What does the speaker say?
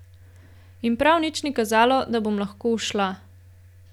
In prav nič ni kazalo, da bom lahko ušla.